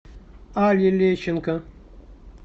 алле лещенко